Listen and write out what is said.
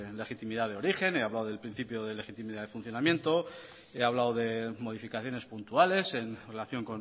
legitimidad de origen he hablado del principio de legitimidad de funcionamiento he hablado de modificaciones puntuales en relación